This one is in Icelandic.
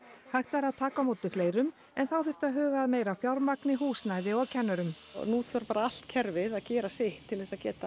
hægt væri að taka á móti fleirum en þá þyrfti að huga að meira fjármagni húsnæði og kennurum nú þarf allt kerfið bara að gera sitt til að geta